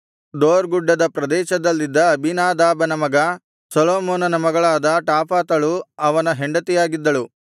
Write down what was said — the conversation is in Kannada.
ದೋರ್ ಗುಡ್ಡದ ಪ್ರದೇಶದಲ್ಲಿದ್ದ ಅಬೀನಾದಾಬನ ಮಗ ಸೊಲೊಮೋನನ ಮಗಳಾದ ಟಾಫತಳು ಅವನ ಹೆಂಡತಿಯಾಗಿದ್ದಳು